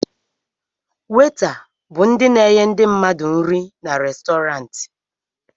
Weta bụ ndị na-enye ndị mmadụ nri n'Restọrantị